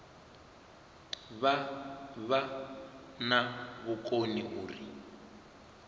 vha vha na vhukoni uri